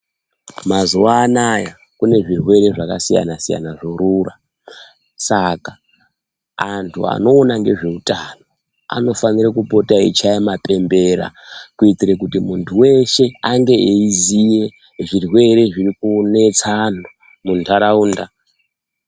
Mazuwa anaya kune zvirwere zvakasiyana siyana zvorura saka antu anoona ngezveutano anofanire kupota eichaye mapembera kuitore kuti muntu weshe ange eiziye zvirwere zviri kunetsa anhu muntaraunda.